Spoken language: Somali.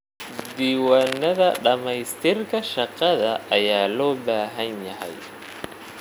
Diiwaanada dhamaystirka shaqada ayaa loo baahan yahay.